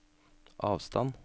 avstand